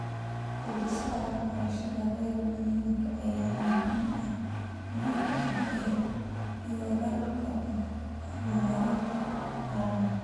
Hindisaha waxbarashada reer miyiga ayaa muhiim u ah yoolalka horumarinta qaranka.